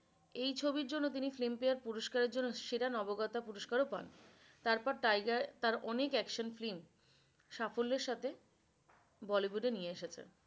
এই ছবি এর জন্য তিনি filmfare পুরস্কার এর জন্য সেরা নবাগতা পুরস্কার ও পান। তারপর টাইগার তার অনেক action film সাফল্যের সাথে bollywood এ নিয়ে এসেছে।